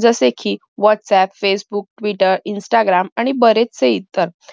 जसे कि whats aap facebook twitter instagram आणि बरेचसे